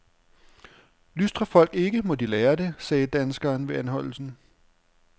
Lystrer folk ikke, må de lære det, sagde danskeren ved anholdelsen.